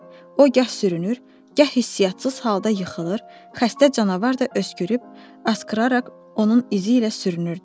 O gah sürünür, gah hissiyatsız halda yıxılır, xəstə canavar da öskürüb, asqıraraq onun izi ilə sürünürdü.